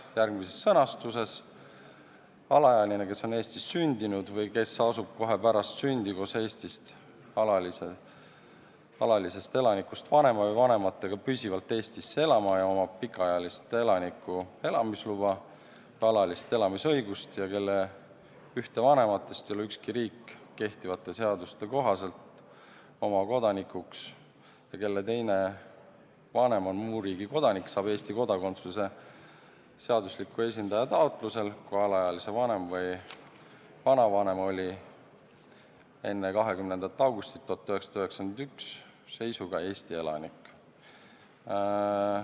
Lõige 41: "Alaealine, kes on Eestis sündinud või kes asub kohe pärast sündi koos Eesti alalisest elanikust vanema või vanematega püsivalt Eestisse elama ja omab pikaajalise elaniku elamisluba või alalist elamisõigust ja kelle ühte vanematest ei loe ükski riik kehtivate seaduste kohaselt oma kodanikuks ja kelle teine vanem on muu riigi kodanik, saab Eesti kodakondsuse seadusliku esindaja taotlusel, kui alaealise vanem või vanavanem oli 1991. aasta 20. augusti seisuga Eesti elanik.